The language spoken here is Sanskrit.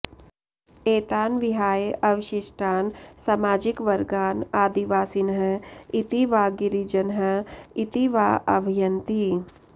एतान् विहाय अवशिष्टान् सामाजिकवर्गान् आदिवासिनः इति वा गिरिजनः इति वा आह्वयन्ति